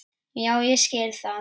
Já ég skil það.